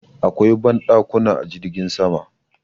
Akwai banɗakuna a jirgin sama.